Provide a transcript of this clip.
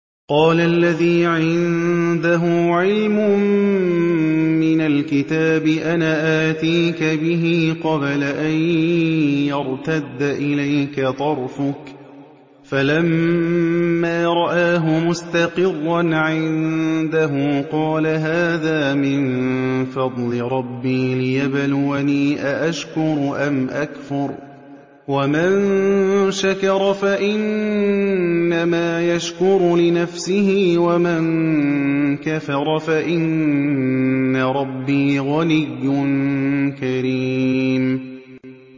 قَالَ الَّذِي عِندَهُ عِلْمٌ مِّنَ الْكِتَابِ أَنَا آتِيكَ بِهِ قَبْلَ أَن يَرْتَدَّ إِلَيْكَ طَرْفُكَ ۚ فَلَمَّا رَآهُ مُسْتَقِرًّا عِندَهُ قَالَ هَٰذَا مِن فَضْلِ رَبِّي لِيَبْلُوَنِي أَأَشْكُرُ أَمْ أَكْفُرُ ۖ وَمَن شَكَرَ فَإِنَّمَا يَشْكُرُ لِنَفْسِهِ ۖ وَمَن كَفَرَ فَإِنَّ رَبِّي غَنِيٌّ كَرِيمٌ